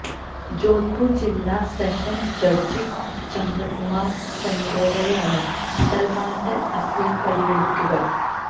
ജോധ്പൂര് ജില്ലാ sessions judge Chandrakumar സൊങ്കാറയാണ് സല്മാന്റെ അപ്പീല് പരിഗണിക്കുക